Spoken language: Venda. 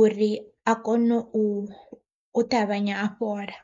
uri a kone u ṱavhanya a fhola.